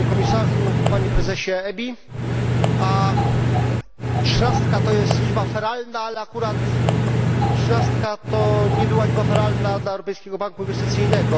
Panie Komisarzu, Panie Prezesie EBI! Trzynastka to jest liczba feralna, ale akurat trzynastka nie była liczbą feralną dla Europejskiego Banku Inwestycyjnego.